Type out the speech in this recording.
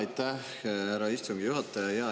Aitäh, härra istungi juhataja!